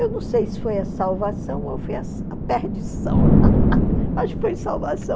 Eu não sei se foi a salvação ou foi a perdição, mas foi salvação.